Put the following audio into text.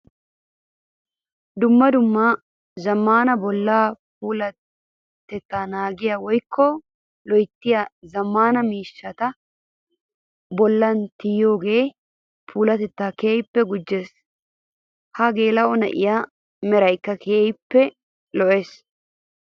Dumma dumma zamaana bolla puulatetta naagiya woykka loyttiya zamaana miishshatta bollan tiyiyooge puulatetta keehippw gujjees. Ha geela'o na'ee meraykka keehippe lo'ees.